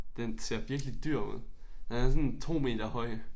Den ser virkelig dyr ud. Den er sådan 2 meter høj